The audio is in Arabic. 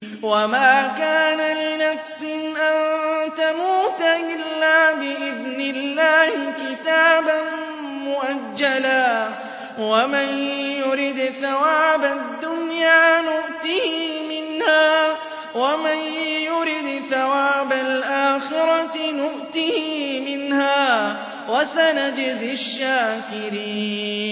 وَمَا كَانَ لِنَفْسٍ أَن تَمُوتَ إِلَّا بِإِذْنِ اللَّهِ كِتَابًا مُّؤَجَّلًا ۗ وَمَن يُرِدْ ثَوَابَ الدُّنْيَا نُؤْتِهِ مِنْهَا وَمَن يُرِدْ ثَوَابَ الْآخِرَةِ نُؤْتِهِ مِنْهَا ۚ وَسَنَجْزِي الشَّاكِرِينَ